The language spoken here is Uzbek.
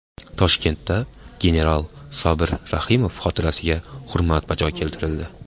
Toshkentda general Sobir Rahimov xotirasiga hurmat bajo keltirildi.